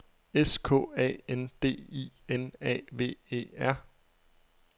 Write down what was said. S K A N D I N A V E R